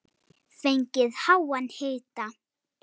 Fengið háan hita.